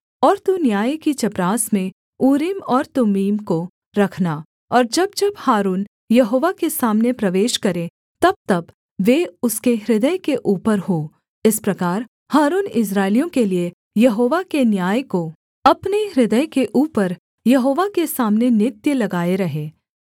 और तू न्याय की चपरास में ऊरीम और तुम्मीम को रखना और जब जब हारून यहोवा के सामने प्रवेश करे तबतब वे उसके हृदय के ऊपर हों इस प्रकार हारून इस्राएलियों के लिये यहोवा के न्याय को अपने हृदय के ऊपर यहोवा के सामने नित्य लगाए रहे